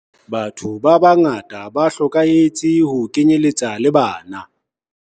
Batho ba bangata ba hlokahetse ho kenyeletsa le bana.